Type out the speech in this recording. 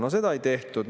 No seda ei tehtud.